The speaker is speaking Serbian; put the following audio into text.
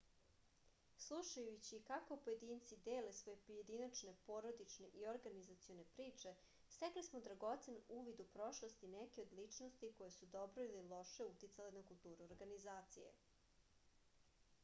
slušajući kako pojedinci dele svoje pojedinačne porodične i organizacione priče stekli smo dragocen uvid u prošlost i neke od ličnosti koje su dobro ili loše uticale na kulturu organizacije